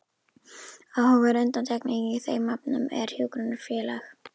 Áhugaverð undantekning í þeim efnum er Hjúkrunarfélag